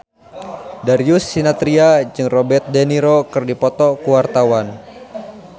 Darius Sinathrya jeung Robert de Niro keur dipoto ku wartawan